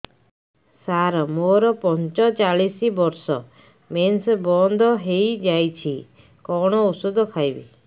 ସାର ମୋର ପଞ୍ଚଚାଳିଶି ବର୍ଷ ମେନ୍ସେସ ବନ୍ଦ ହେଇଯାଇଛି କଣ ଓଷଦ ଖାଇବି